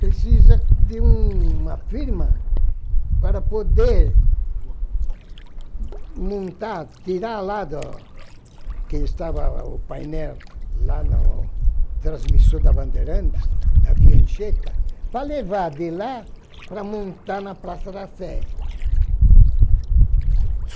Precisa de uma firma para poder montar, tirar lá do que estava o painel lá no transmissor da Bandeirantes, na via Anchieta, para levar de lá para montar na Praça da Sé.